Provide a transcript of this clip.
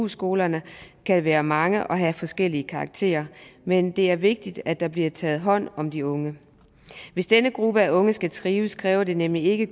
skolerne kan være mange og have forskellig karakter men det er vigtigt at der bliver taget hånd om de unge hvis denne gruppe af unge skal trives kræver det nemlig ikke